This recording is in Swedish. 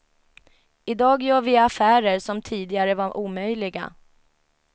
I dag gör vi affärer som tidigare var omöjliga.